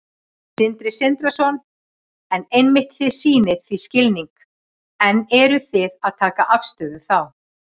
Sindri Sindrason: En einmitt, þið sýnið því skilning en eruð þið að taka afstöðu þá?